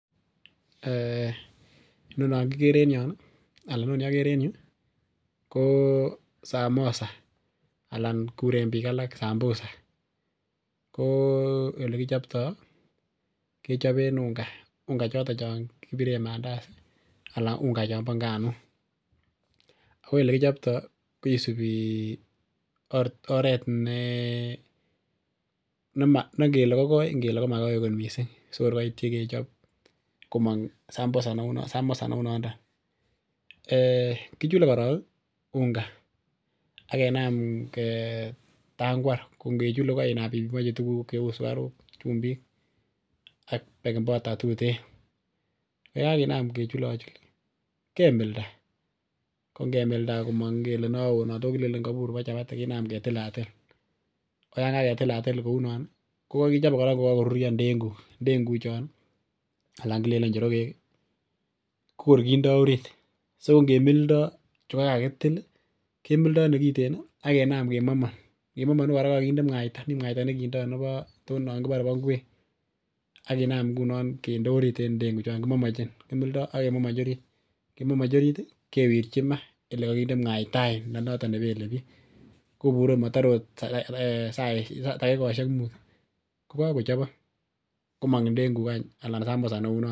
Inonon kikere en yon ih anan inoni kikere en yuu ko samosa anan kuren biik alak sambusa ko elekichoptoo kechoben unga, unga choton chon kibiren mandasi anan unga chombo nganuk ako elekichoptoo kisibi oret nengele kokoi ngele komakoi kot missing sikor koityi kechob komong samosa sambusa neunondon um kichule korong unga akenam ketangwar ko ngechule ko keinam ibimonji tuguk cheu sukaruk chumbik ak baking powder tuten. Yekakenam kechul kemilda, ko ngemilda komong ngele nowoo anan ndoo kilenen nombo chapati kenam ketilatil ko yan kaketilatil kounon ih kokokichobe kora kokakoruryo ndenguk, ndenguk chon ih anan kilenen njorogek ih kokor kindoo orit ko ngemildoo chekokakitil ih kemildoo nekiten ih akinam kemaman, ngemomoni kora kindoo mwaita nekiten mi mwaita nekindoo nebo too non kibore bo ngwek akinam ngunon kinde orit en ndenguk chon kimildoo akemomonjin orit kemomonji orit ih kewirchi maa elekokinde mwaita any nenoton nebele biik kobure motore ot takikosiek mut ih kokakochobokok komong any ndenguk any anan sambusa neunon.